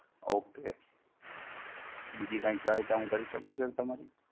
Okay બીજી કાંઈ સહાયતા હું કરી શકું Sir તમારી?